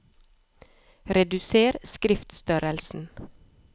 Reduser skriftstørrelsen